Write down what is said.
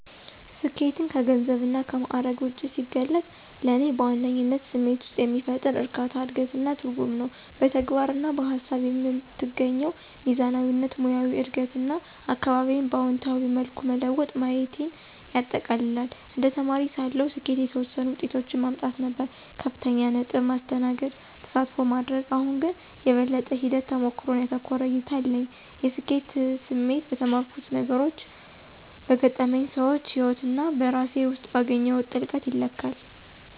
ስኬትን ከገንዘብና ከማዕረግ ውጭ ሲገልጽ፣ ለእኔ በዋነኝነት ስሜት ውስጥ የሚፈጠር እርካታ፣ እድገት እና ትርጉም ነው። በተግባር እና በሃሳብ የምትገኘው ሚዛናዊነት፣ ሙያዊ እድገት እና አካባቢዬን በአዎንታዊ መልኩ መለወጥ ማየቴን ያጠቃልላል። እንደ ተማሪ ሳለሁ፣ ስኬት የተወሰኑ ውጤቶችን ማምጣት ነበር - ከፍተኛ ነጥብ፣ ማስተናገድ፣ ተሳትፎ ማድረግ። አሁን ግን፣ የበለጠ ሂደት-ተሞክሮን ያተኮረ እይታ አለኝ። የስኬት ስሜት በተማርኩት ነገሮች፣ በገጠመኝ ሰዎች ህይወት እና በራሴ ውስጥ ባገኘሁት ጥልቀት ይለካል።